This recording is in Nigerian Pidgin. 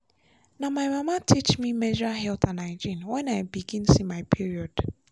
na my mama teach me menstrual health and hygiene when i begin see my period.